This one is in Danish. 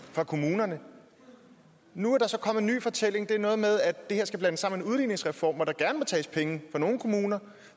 fra kommunerne og nu er der så kommet en ny fortælling det er noget med at det her skal blandes sammen udligningsreform hvor der gerne må tages penge fra nogle kommuner